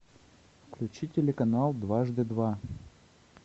включи телеканал дважды два